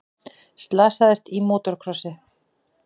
Slasaðist í mótorkrossi